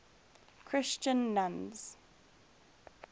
christian nuns